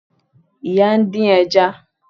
Ìyá ń dín ẹja